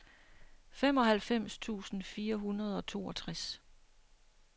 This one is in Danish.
femoghalvfems tusind fire hundrede og toogtres